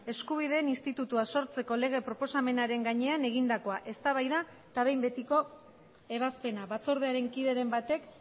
eskubideen institutua sortzeko lege proposamenaren gainean egindakoa eztabaida eta behin betiko ebazpena batzordearen kideren batek